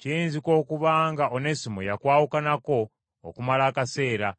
Kiyinzika okuba nga Onesimo yakwawukanako okumala akaseera,